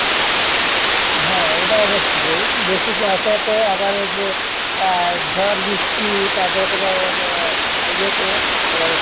হ্যাঁ এটা বেশি কুয়াশা তে আবার যে আহ ঝর বৃষ্টি তারপরে তোমার হলো, ইয়েতে তোমার